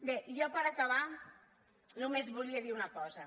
bé jo per acabar només volia dir una cosa